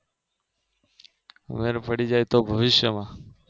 મેળ પડી જાયતો ભવિષ્યમાં